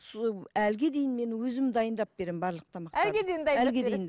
әліге дейін мен өзім дайындап беремін барлық тамақтарды